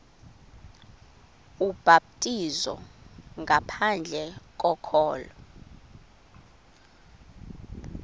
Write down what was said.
ubhaptizo ngaphandle kokholo